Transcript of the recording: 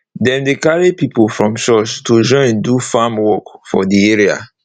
dem dey carry pipo from church to join do farm work for de area